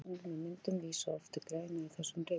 Tilvísanir með myndum vísa oft til greina í þessum ritum.